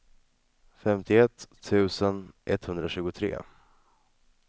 femtioett tusen etthundratjugotre